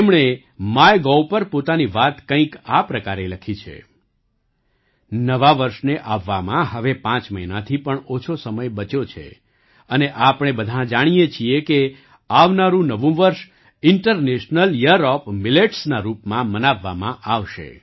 તેમણે MyGovપર પોતાની વાત કંઈક આ પ્રકારે લખી છે નવા વર્ષને આવવામાં હવે પાંચ મહિનાથી પણ ઓછો સમય બચ્યો છે અને આપણે બધાં જાણીએ છીએ કે આવનારું નવું વર્ષ ઇન્ટર્ટનેશનલ યીયર ઓએફ મિલેટ્સ ના રૂપમાં મનાવવામાં આવશે